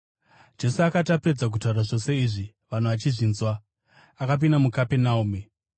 Jesu akati apedza kutaura zvose izvi vanhu vachizvinzwa, akapinda muKapenaume.